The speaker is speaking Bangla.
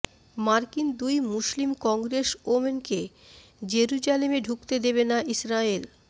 মার্কিন দুই মুসলিম কংগ্রেসওমেনকে জেরুজালেমে ঢুকতে দেবে না ইসরায়েল